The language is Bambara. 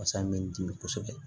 Wasa me n dimi kosɛbɛ